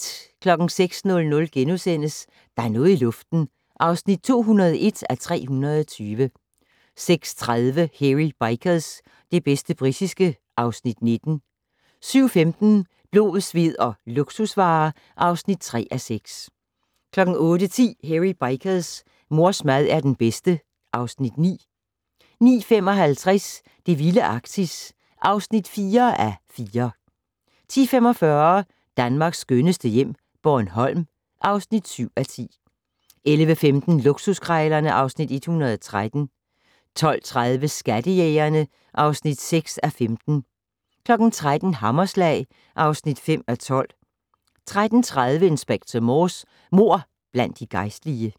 06:00: Der er noget i luften (201:320)* 06:30: Hairy Bikers - det bedste britiske (Afs. 19) 07:15: Blod, sved og luksusvarer (3:6) 08:10: Hairy Bikers: Mors mad er den bedste (Afs. 9) 09:55: Det vilde Arktis (4:4) 10:45: Danmarks skønneste hjem - Bornholm (7:10) 11:15: Luksuskrejlerne (Afs. 113) 12:30: Skattejægerne (6:15) 13:00: Hammerslag (5:12) 13:30: Inspector Morse: Mord blandt de gejstlige